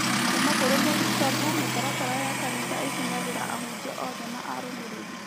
Kuuma kũrĩ mũthikabu mĩtaratara ya kanitha ĩkinyagĩra ahunjia othe na arũmĩrĩri